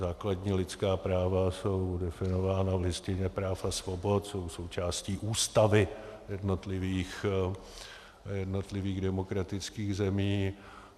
Základní lidská práva jsou definována v Listině práv a svobod, jsou součástí ústavy jednotlivých demokratických zemí.